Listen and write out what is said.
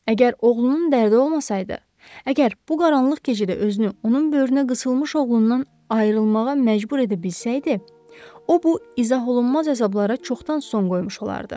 Əgər oğlunun dərdi olmasaydı, əgər bu qaranlıq gecədə özünü onun böyrünə qısılmış oğlundan ayrılmağa məcbur edə bilsəydi, o bu izaholunmaz əzablara çoxdan son qoymuş olardı.